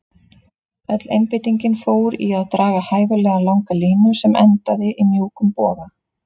Öll einbeitingin fór í að draga hæfilega langa línu sem endaði í mjúkum boga.